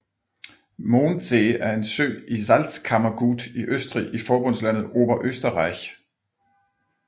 Mondsee er en sø i Salzkammergut i Østrig i forbundslandet Oberösterreich